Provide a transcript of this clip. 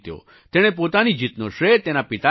તેણે પોતાની જીતનો શ્રેય તેના પિતાને આપ્યો